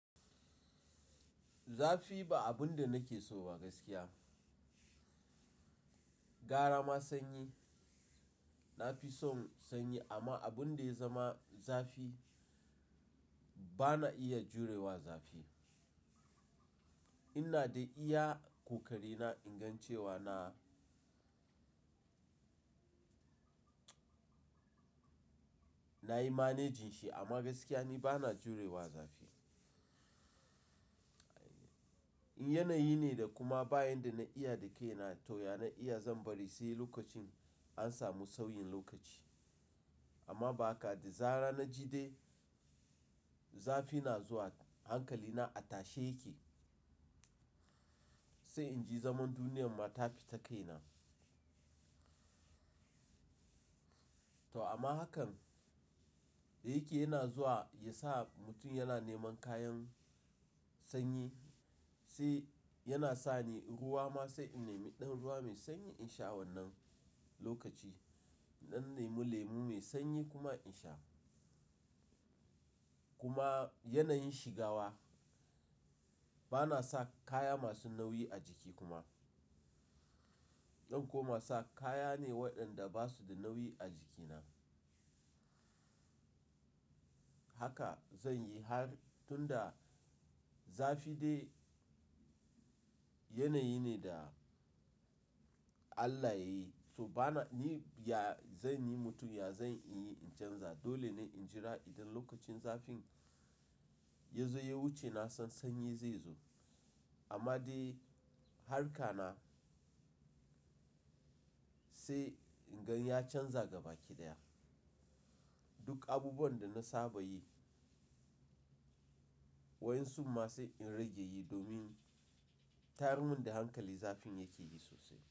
Zafi ba abun da nake so ba gaskiya. Gara ma sanyi, na fi son sanyi amma abun da ya zama zafi, ba na iya jurewa zafi. Ina dai iya ƙoƙari na ingan cewa na, nayi managing shi amma gaskiya ni ba na jurewa zafi. Yanayi ne da kuma bayan da na iya da kai na toh ya na iya zan bari sai lokacin an samu sauyin lokaci. Amma ba haka da zara na ji dai zafi na zuwa hankali na a tashe yake, sai inji zaman duniyar ma ta fita kaina. To amma hakan da yake yana zuwa yasa mutum yana neman kayan sanyi sai yana sani ruwa ma sai in nemi ɗan ruwa mai sanyi in sha wannan lokaci. Na nemi lemu mai sanyi kuma in sha. Kuma yanayin shigawa ba na sa kaya masu nauyi a jiki kuma. Zan koma sa kaya ne waɗanda ba su da nauyi a jikina. Haka zan yi har tunda zafi dai yanayi ne da Allah yayi so bana, ni ya zan yi mutum ya zan in yi in canza dole ne in jira idan lokacin zafin ya zo ya wuce na san sanyi zai zo. Amma dai harka na sai inga ya canza gabaki ɗaya. Duk abubuwan da na saba yi, wayan sun ma sai in rage yi domin tayar mun da hankali zafin yake yi sosai.